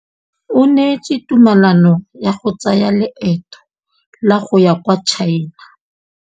O neetswe tumalanô ya go tsaya loetô la go ya kwa China.